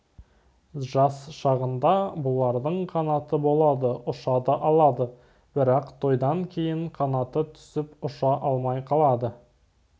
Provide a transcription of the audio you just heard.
жас шағында бұлардың қанаты болады ұша да алады бірақ тойдан кейін қанаты түсіп ұша алмай қалады